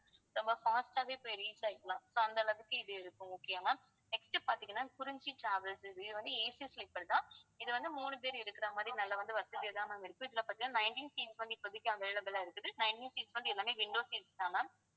ரொம்ப fast ஆவே போய் reach ஆயிக்கலாம் so அந்த அளவுக்கு இது இருக்கும் okay யா ma'am next பாத்தீங்கன்னா குறிஞ்சி travels இது இது வந்து ACsleeper தான் இது வந்து மூணு பேர் இருக்கிற மாதிரி நல்லா வந்து வசதியா இருக்கு இதுல பார்த்தீங்கன்னா nineteen seat க்கு வந்து இப்போதைக்கு available ஆ இருக்குது nineteen seat வந்து எல்லாமே window seats தான் ma'am